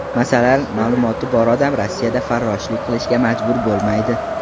Masalan, ma’lumoti bor odam Rossiyada farroshlik qilishga majbur bo‘lmaydi.